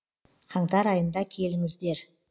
қаңтар айында келіңіздер